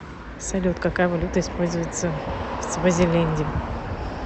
салют какая валюта используется в свазиленде